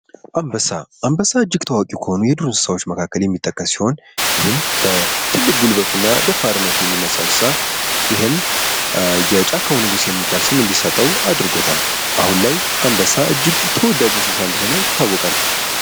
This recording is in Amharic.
አንበሳ አንበሳ እጅግ ታዋቂ ከሆኑ የዱር እንሳቶች የሚጠቀስ ሲሆን ይህም በትልቅ ጉልበቱ እና በደፉርነቱ የሚነሳው እንስሳ ይህም የጫካው ንጉስ የሚባል ስም እንዲሰጠው አድርጎታል። የህም አሁን ላይ ተወዳጅ እንስሳ እንደሆነ ይታወቃል።